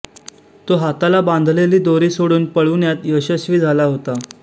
तो हाताला बांधलेली दोरी सोडून पळूण्यात यशस्वी झाला होता